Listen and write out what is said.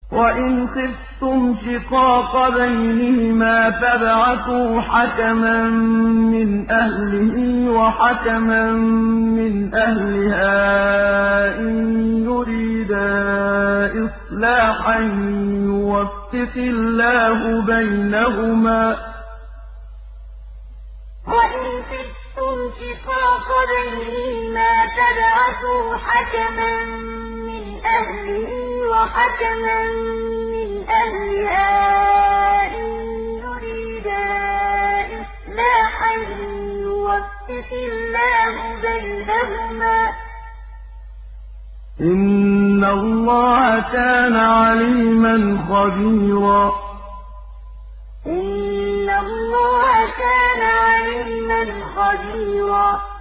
وَإِنْ خِفْتُمْ شِقَاقَ بَيْنِهِمَا فَابْعَثُوا حَكَمًا مِّنْ أَهْلِهِ وَحَكَمًا مِّنْ أَهْلِهَا إِن يُرِيدَا إِصْلَاحًا يُوَفِّقِ اللَّهُ بَيْنَهُمَا ۗ إِنَّ اللَّهَ كَانَ عَلِيمًا خَبِيرًا وَإِنْ خِفْتُمْ شِقَاقَ بَيْنِهِمَا فَابْعَثُوا حَكَمًا مِّنْ أَهْلِهِ وَحَكَمًا مِّنْ أَهْلِهَا إِن يُرِيدَا إِصْلَاحًا يُوَفِّقِ اللَّهُ بَيْنَهُمَا ۗ إِنَّ اللَّهَ كَانَ عَلِيمًا خَبِيرًا